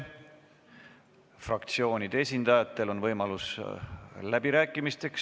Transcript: Fraktsioonide esindajatel on võimalus läbi rääkida.